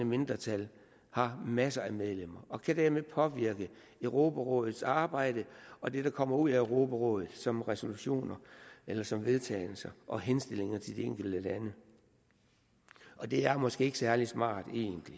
mindretal har masser af medlemmer og kan dermed påvirke europarådets arbejde og det der kommer ud af europarådet som resolutioner eller som vedtagelser og henstillinger til de enkelte lande og det er måske egentlig ikke særlig smart